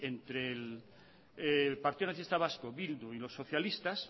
entre el partido nacionalistas vasco bildu y los socialistas